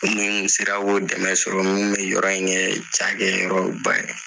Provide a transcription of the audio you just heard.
Ni n tun sera k'o dɛmɛ sɔrɔ n tun bɛ yɔrɔ in kɛ cakɛyɔrɔba ye